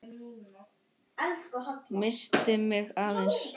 Missti mig aðeins.